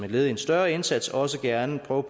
led i en større indsats også gerne prøve